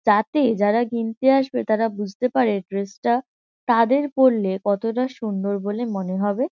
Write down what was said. যাতে যারা কিনতে আসবে তারা বুঝতে পারে ড্রেস -টা তাদের পড়লে কতটা সুন্দর বলে মনে হবে।